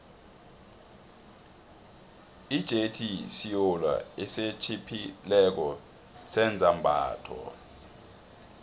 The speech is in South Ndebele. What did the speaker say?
ijethi siolo esitjhiphileko sezambatho